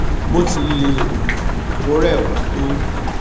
bó ti lè wù kó rẹ wá tó